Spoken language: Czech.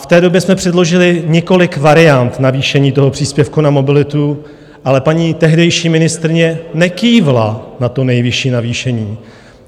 V té době jsme předložili několik variant navýšení toho příspěvku na mobilitu, ale paní tehdejší ministryně nekývla na to nejvyšší navýšení.